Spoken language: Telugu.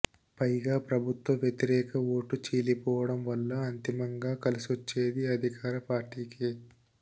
పైగా ప్రభుత్వ వ్యతిరేక ఓటు చీలిపోవడం వల్ల అంతిమంగా కలిసోచ్చేది అధికారపార్టికే